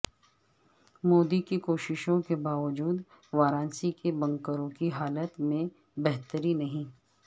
مودی کی کوششوں کے باوجود وارانسی کے بنکروں کی حالت میں بہتری نہیں